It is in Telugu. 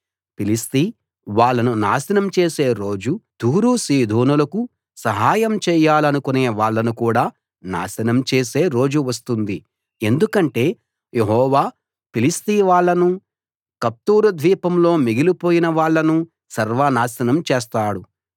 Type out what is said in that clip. ఫిలిష్తీ వాళ్ళను నాశనం చేసే రోజు తూరు సీదోనులకు సహాయం చేయాలనుకునే వాళ్ళను కూడా నాశనం చేసే రోజు వస్తుంది ఎందుకంటే యెహోవా ఫిలిష్తీ వాళ్ళనూ కఫ్తోరు ద్వీపంలో మిగిలిపోయిన వాళ్ళనూ సర్వ నాశనం చేస్తాడు